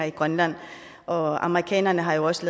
i grønland og amerikanerne har også